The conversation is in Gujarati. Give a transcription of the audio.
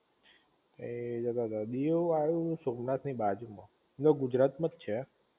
એ બરાબર દીવ આવ્યું સોમનાથ ની બાજુ માં આમ તો ગુજરાત માં છે